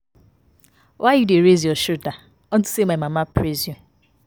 Why you dey raise your shoulders unto say my mama praise you